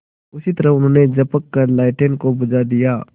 उसी तरह उन्होंने झपट कर लालटेन को बुझा दिया